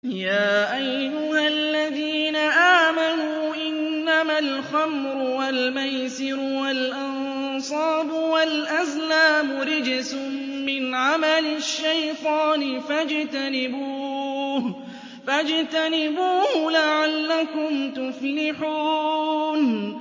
يَا أَيُّهَا الَّذِينَ آمَنُوا إِنَّمَا الْخَمْرُ وَالْمَيْسِرُ وَالْأَنصَابُ وَالْأَزْلَامُ رِجْسٌ مِّنْ عَمَلِ الشَّيْطَانِ فَاجْتَنِبُوهُ لَعَلَّكُمْ تُفْلِحُونَ